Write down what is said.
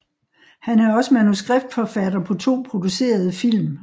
Han er også manuskriptforfatter på to producerede film